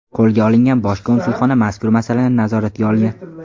qo‘lga olingan Bosh konsulxona mazkur masalani nazoratga olgan.